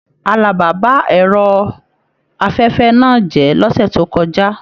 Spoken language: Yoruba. Àlàbá bá ẹrọ afẹfẹ náà jẹ lọ́sẹ̀ tó kọjá.